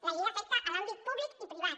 la llei afecta l’àmbit públic i privat